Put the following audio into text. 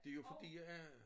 Det jo fordi at